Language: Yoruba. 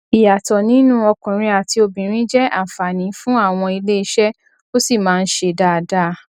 ìyàtọ nínú ọkùnrin àti obìnrin jẹ àǹfààní fún àwọn iléeṣẹ ó sì máa ń ṣe dáadáa